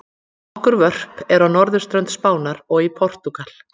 Nokkur vörp eru á norðurströnd Spánar og í Portúgal.